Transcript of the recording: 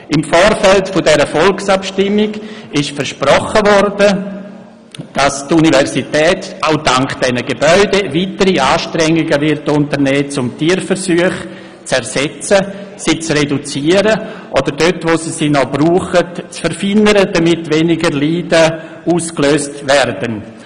Im Vorfeld dieser Volksabstimmung wurde versprochen, dass die Universität Bern auch dank dieser Gebäude weitere Anstrengungen unternehmen werde, um Tierversuche zu ersetzen, sie zu reduzieren und sie dort, wo es sie noch braucht, zu verfeinern, damit weniger Leiden ausgelöst werde.